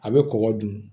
A bɛ kɔgɔ dun